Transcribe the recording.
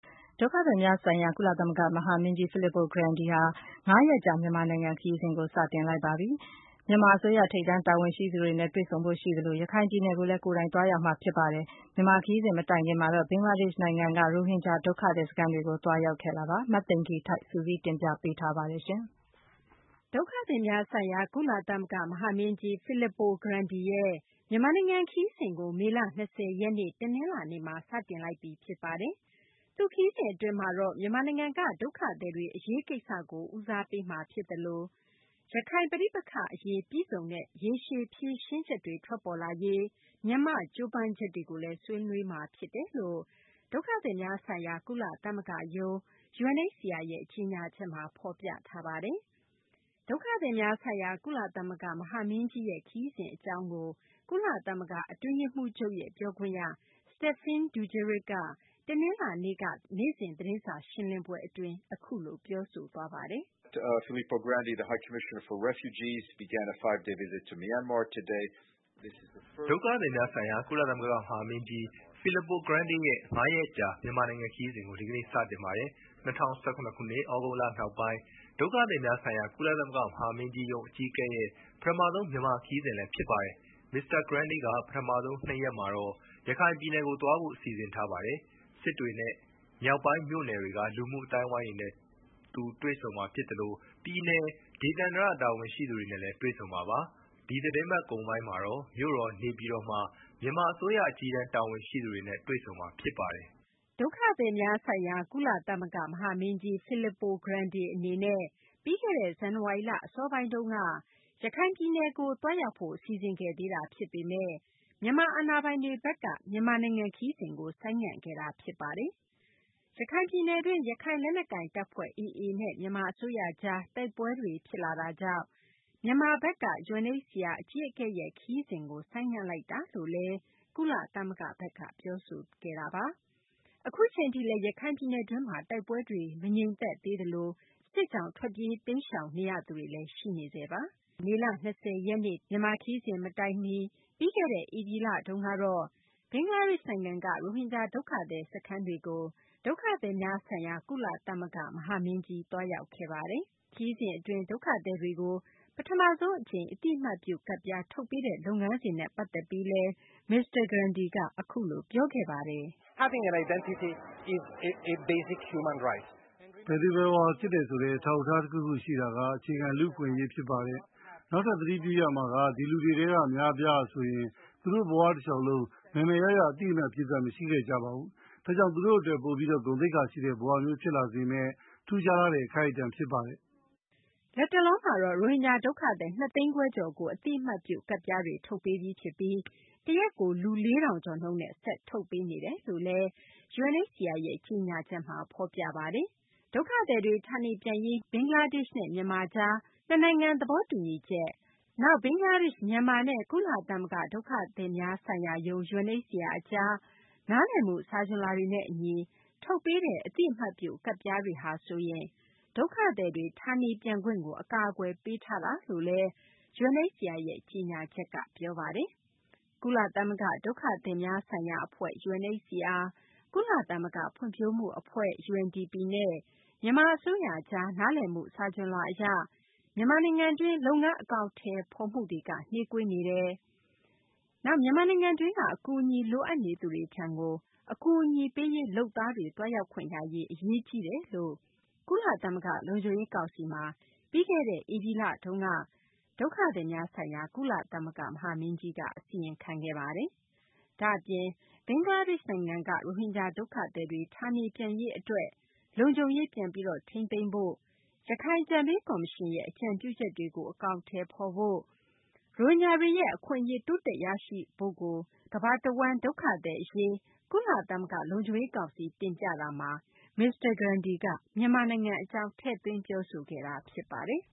ဒုက္ခသည်များဆိုင်ရာ ကုလသမဂ္ဂ မဟာမင်းကြီး Fillippo Grandi ဟာ ၅ ရက်ကြာ မြန်မာနိုင်ငံ ခရီးကို စတင်လိုက်ပါပြီ။ မြန်မာအစိုးရ ထိပ်တန်း တာဝန်ရှိသူတွေနဲ့ တွေ့ဆုံဖို့ ရှိသလို ရခိုင်ပြည်နယ်ကိုလည်း ကိုယ်တိုင်သွားရောက်မှာပါ။ မြန်မာ ခရီးစဉ် မတိုင်ခင်မှာတော့ ဘင်္ဂလားဒေရှ့် နိုင်ငံက ရိုဟင်ဂျာ ဒုက္ခသည် စခန်းတွေကို သွားရောက်ခဲ့တာပါ။ မသိင်္ဂ ီထိုက် စုစည်းတင်ပြပေးမှာပါ။ ဒုက္ခသည်များဆိုင်ရာ ကုလသမဂ္ဂ မဟာမင်းကြီး Fillippo Grandi ရဲ့ မြန်မာနိုင်ငံ ခရီးစဉ်ကို မေလ ၂၀ ရက်နေ့ တနလာၤနေ့မှာ စတင်လိုက်ပြီ ဖြစ်ပါတယ်။ သူ့ခရီးစဉ် အတွင်းမှာတော့ မြန်မာနိုင်ငံက ဒုက္ခသည်တွေ အရေးကိစ္စတွေကို ဦးစားပေးမှာ ဖြစ်သလို ရခိုင်ပဋိပက္ခအရေး ပြည့်စုံတဲ့ ရေရှည် ဖြေရှင်းချက်တွေ ထွက်ပေါ်လာရေး မြန်မာ့ ကြိုးပမ်းချက်တွေကိုလည်း ဆွေးနွေးမှာ ဖြစ်တယ်လို့ ဒုက္ခသည်များဆိုင်ရာ ကုလသမဂ္ဂရုံး UNHCR ရဲ့ ကြေညာချက်မှာ ဖော်ပြပါတယ်။ ဒုက္ခသည်များဆိုင်ရာ ကုလသမဂ္ဂ မဟာမင်းကြီးရဲ့ ခရီးစဉ် အကြောင်းကို ကုလသမဂ္ဂ အတွင်းရေးမှူးချုပ်ရဲ့ ပြောခွင့်ရ Stephane Dujarric ကလည်း တနလာၤနေ့က နေ့စဉ် သတင်းစာ ရှင်းလင်းပွဲ အတွင်း ပြောဆိုသွားပါတယ်။ ဒုက္ခသည်များဆိုင်ရာ ကုလသမဂ္ဂ မဟာမင်းကြီး Fillippo Grandi ရဲ့ ၅ ရက်ကြာ မြန်မာနိုင်ငံ ခရီးစဉ်ကို ဒီကနေ့ စတင်ပါတယ်။ ၂၀၁၇ ခုနှစ် သြဂုတ်လ နောက်ပိုင်း ဒုက္ခသည်များဆိုင်ရာ ကုလသမဂ္ဂ မဟာမင်းကြီးရုံး အကြီးအကဲရဲ့ ပထမဆုံး မြန်မာခရီးစဉ်လည်းဖြစ်ပါတယ်။ မစ္စတာ Grandi က ပထမဆုံး ၂ ရက်မှာတော့ ရခိုင်ပြည်နယ်ကို သွားဖို့ စီစဉ်ထားပါတယ်။ စစ်တွေနဲ့ မြောက်ပိုင်း မြို့နယ်တွေက လူမှုအသိုင်းအဝိုင်းတွေနဲ့ သူ တွေ့ဆုံမှာ ဖြစ်သလို ပြည်နယ်၊ ဒေသန္တရ တာဝန်ရှိသူတွေနဲ့လည်း တွေ့ဆုံမှာပါ။ ဒီသတင်းပတ်ကုန်ပိုင်းမှာတော့ မြို့တော် နေပြည်တော်မှာ မြန်မာ အစိုးရ အကြီးတန်း တာဝန်ရှိသူတွေနဲ့ တွေ့ဆုံမှာ ဖြစ်ပါတယ်။ ဒုက္ခသည်များဆိုင်ရာ ကုလသမဂ္ဂ မဟာမင်းကြီး Filippo Grande အနေနဲ့ ပြီးခဲ့တဲ့ ဇန်နဝါရီလ အစောပိုင်းက ရခိုင်ပြည်နယ်ကို သွားရောက်ဖို့ စီစဉ်ခဲ့သေးတာ ဖြစ်ပေမယ့် မြန်မာအာဏာပိုင်တွေဘက်က ခရီးစဉ်ကို ဆိုင်းငံ့ခဲ့တာပါ။ ရခိုင်ပြည်နယ်တွင်း ရခိုင်လက်နက်ကိုင်တပ်ဖွဲ့ AA နဲ့ မြန်မာ အစိုးရကြား တိုက်ပွဲတွေ တိုက်ပွဲတွေ ဖြစ်လာတာကြောင့် မြန်မာဘက်က UNHCR အကြီးအကဲရဲ့ ခရီးစဉ်ကို ဆိုင်းငံ့လိုက်တာလို့လည်း ကုလသမဂ္ဂဘက်က ပြောဆိုခဲ့တာပါ။ အခုအချိန်ထိလည်း ရခိုင်ပြည်နယ်တွင်းမှာ တိုက်ပွဲတွေ မငြိမ်သက်သေးသလို စစ်ကြောင့် ထွက်ပြေးတိမ်းရှောင်ရသူတွေလည်း ရှိနေဆဲပါ။ အခု မြန်မာ ခရီးစဉ် မတိုင်ခင် ပြီးခဲ့တဲ့ ဧပြီလကုန်ပိုင်းတုန်းကလည်း ဘင်္ဂလားဒေရှ့်နိုင်ငံက ရိုဟင်ဂျာ ဒုက္ခသည် စခန်းတွေကို သွားရောက်ခဲ့ပါတယ်။ ခရီးစဉ်အတွင်း ဒုက္ခသည်တွေကို ပထမဆုံး အကြိမ် အသိအမှတ်ပြု ကဒ်ပြား ထုတ်ပေးတဲ့ လုပ်ငန်းစဉ်နဲ့ ပတ်သက်ပြီး မစ္စတာ Grandi က အခုလို ပြောခဲ့ပါတယ်။ "ဘယ်သူဘယ်ဝါ ဖြစ်တယ်ဆိုတဲ့ အထောက်အထား တခုခုရှိတာက အခြေခံ လူ့အခွင့်အရေး ဖြစ်ပါတယ်။ နောက်ထပ် သတိပြုရမှာက ဒီလူတွေထဲက အများအပြားဟာဆိုရင် သူတို့ဘ၀ တလျှောက်လုံး မယ်မယ်ရရ အသိအမှတ်ပြုကဒ် မရှိခဲ့ကြပါဘူး။ ဒါကြောင့် သူတို့ အတွက် ပိုပြီး ဂုဏ်သိက္ခာရှိတဲ့ ဘဝမျိုးဖြစ်လာစေမယ့် ထူးခြားလှတဲ့ အခိုက်အတန့် ဖြစ်ပါတယ်။" လက်တလောမှာတော့ ရိုဟင်ဂျာ ဒုက္ခသည် ၂ သိန်းခွဲကျော်ကို အသိအမှတ်ပြု ကဒ်ပြားတွေ ထုတ်ပေးပြီးဖြစ်ပြီး တရက်ကို လူ ၄ ထောင်ကျော်နှုန်းနဲ့ ဆက်လက် ထုတ်ပေးနေတယ်လို့လည်း UNHCR ရဲ့ ကြေညာချက်မှာ ဖော်ပြပါတယ်။ ဒုက္ခသည်တွေ ဌာနေပြန်ရေး ဘင်္ဂလားဒေရှ့်နဲ့ မြန်မာကြား နှစ်နိုင်ငံ သဘောတူညီချက်၊ နောက် ဘင်္ဂလားဒေရှ့်၊ မြန်မာနဲ့ ကုလသမဂ္ဂ ဒုက္ခသည်များဆိုင်ရာရုံး UNHCR အကြား နားလည်မှု စာချွန်လွှာတွေနဲ့ အညီ ထုတ်ပေးတဲ့ အသိအမှတ်ပြု ကဒ်ပြားတွေ ထုတ်ပေးတာဟာ ဆိုရင် ဒုက္ခသည်တွေ ဌာနေပြန်ခွင့်ကို အကာအကွယ်ပေးတာ ဖြစ်တယ်လို့လည်း UNHCR ကြေညာချက်က ပြောပါတယ်။ ကုလသမဂ္ဂ ဒုက္ခသည်များဆိုင်ရာ အဖွဲ့ UNHCR၊ ကုလသမဂ္ဂ ဖွံ့ဖြိုးမှု အဖွဲ့ UNDP နဲ့ မြန်မာ အစိုးရကြား နားလည်မှု စာချွန်လွှာ အရ လုပ်ငန်း အကောင်အထည်ဖော်နိုင်မှု နှေးကွေးနေကြောင်း၊ နောက် မြန်မာနိုင်ငံတွင်းက အကူအညီလိုအပ်နေသူတွေထံကို အကူအညီပေးရေး လုပ်သားတွေ သွားရောက်ခွင့်ရရေး အရေးကြီးနေကြောင်း ကုလသမဂ္ဂ လုံခြုံရေး ကောင်စီမှာ ပြီးခဲ့တဲ့ ဧပြီလတုန်းက ဒုက္ခသည်များဆိုင်ရာ ကုသမဂ္ဂ မဟာမင်းကြီးက အစီရင်ခံခဲ့တာပါ။ ဒါ့အပြင် ဘင်္ဂလားဒေရှ့်နိုင်ငံက ရိုဟင်ဂျာတွေ ဌာနေပြန်ရေး အတွက် လုံခြုံရေးပြန်လည် ထိန်းသိမ်းဖို့၊ နောက် ရခိုင်အကြံပေး ကော်မရှင်ရဲ့ အကြံပြုချက်တွေကို အကောင်အထည်ဖော်ရေး၊ ရိုဟင်ဂျာတွေရဲ့ အခွင့်အရေး တိုးတက်ရရှိရေးတို့ကိုလည်း သူက ကမ္ဘာတဝန်း ဒုက္ခသည်အရေး ကုလသမဂ္ဂ လုံခြုံရေး ကောင်စီမှာ တင်ပြရာမှာ မြန်မာနိုင်ငံ အကြောင်းလည်း ပြောဆိုခဲ့တာ ဖြစ်ပါတယ်